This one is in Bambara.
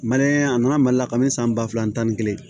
a nana mali la kaban san ba fila ani tan ni kelen